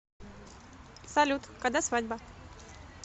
салют когда свадьба